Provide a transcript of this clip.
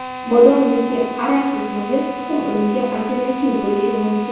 Bodom yoki araxis moyi tuxum o‘rniga alternativ bo‘lishi mumkin.